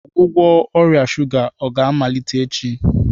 Ọgwụgwọ ọrịa shuga ga-amalite echi?